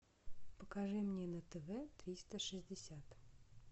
покажи мне на тв триста шестьдесят